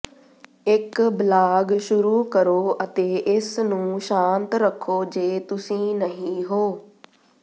ਇੱਕ ਬਲਾਗ ਸ਼ੁਰੂ ਕਰੋ ਅਤੇ ਇਸਨੂੰ ਸ਼ਾਂਤ ਰੱਖੋ ਜੇ ਤੁਸੀਂ ਨਹੀਂ ਹੋ